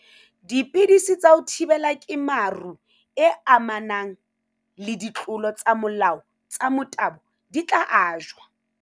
Dipidisi tsa ho thibela kemaro e amanang le ditlolo tsa molao tsa motabo di tla ajwa.